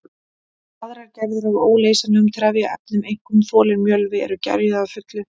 Aðrar gerðir af óleysanlegum trefjaefnum, einkum þolinn mjölvi, eru gerjuð að fullu.